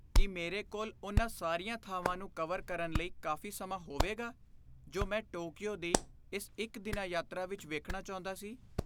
ਕੀ ਮੇਰੇ ਕੋਲ ਉਨ੍ਹਾਂ ਸਾਰੀਆਂ ਥਾਵਾਂ ਨੂੰ ਕਵਰ ਕਰਨ ਲਈ ਕਾਫ਼ੀ ਸਮਾਂ ਹੋਵੇਗਾ ਜੋ ਮੈਂ ਟੋਕੀਓ ਦੀ ਇਸ ਇੱਕ ਦਿਨਾ ਯਾਤਰਾ ਵਿੱਚ ਵੇਖਣਾ ਚਾਹੁੰਦਾ ਸੀ?